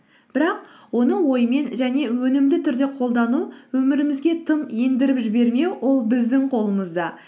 бірақ оны оймен және өнімді түрде қолдану өмірімізге тым ендіріп жібермеу ол біздің қолымызда